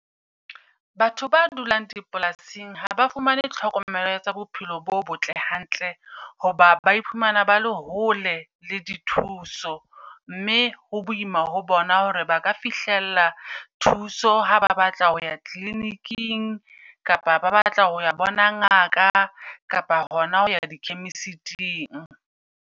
Batho ba dulang dipolasing ha ba fumane tlhokomelo tsa bophelo bo botle hantle, hoba ba iphumana ba le hole le di thuso. Mme ho boima ho ho bona hore ba ka fihlella thuso ha ba batla ho ya clinic-ing. Kapa ba batla ho ya bona ngaka kapa hona ho ya di chemist-ing.